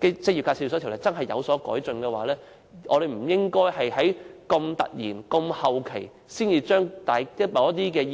職業介紹所的條例有所改進，便不應該在這麼後期才突然提出某些意見。